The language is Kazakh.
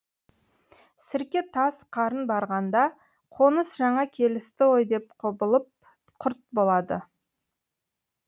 сірке таз қарын барғанда қоныс жаңа келісті ғой деп құбылып құрт болады